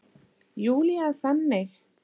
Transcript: Júlía er þannig.